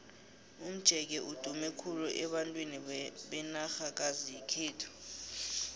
umjeke udume khulu abantwini benarhakazi yekhethu